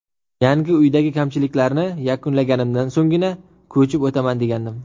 Yangi uydagi kamchiliklarni yakunlaganimdan so‘nggina, ko‘chib o‘taman degandim.